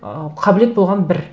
ыыы қабілет болған бір